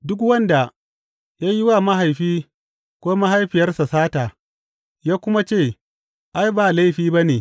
Duk wanda ya yi wa mahaifin ko mahaifiyarsa sata ya kuma ce, Ai, ba laifi ba ne